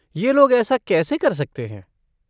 ये लोग ऐसा कैसे कर सकते हैं?